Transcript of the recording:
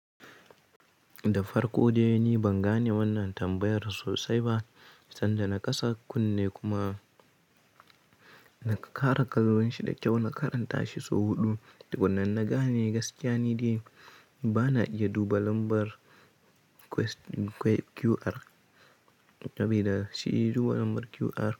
Da farko dai ni ban gane wannan tambayar sosai ba, sanda na kasa kunne kuma na ƙara kallon shi da kyau na karanta shi sau huɗu, wannan na gane gaskiyanin dai bana iya duba lambar QR, sabida shi ya duba lambar QR.